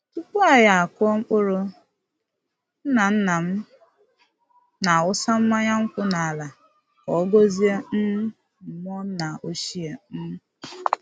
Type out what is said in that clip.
Tupu anyi akụọ mkpụrụ, nna-nna m na-awụsa mmanya nkwụ n’ala ka ọ gọzie um mmụọ nna ochie. um